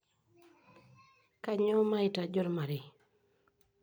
Kanyioo maitaji ormarei?